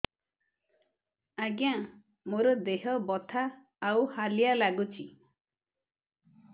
ଆଜ୍ଞା ମୋର ଦେହ ବଥା ଆଉ ହାଲିଆ ଲାଗୁଚି